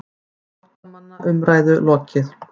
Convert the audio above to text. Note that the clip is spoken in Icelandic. FLÓTTAMANNA UMRÆÐU LOKIÐ